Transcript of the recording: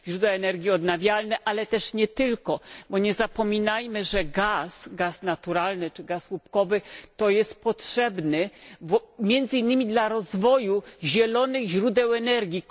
Źródła energii odnawialne, ale też nie tylko, bo nie zapominajmy, że gaz gaz naturalny czy gaz łupkowy to jest potrzebny między innymi dla rozwoju zielonych źródeł energii.